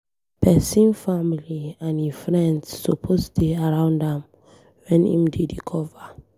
Pesin family and e friends suppose dey around am when em dey recover.